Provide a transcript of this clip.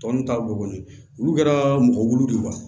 Tɔ ninnu ta bɔ kɔni olu kɛra mɔgɔ wolo de wa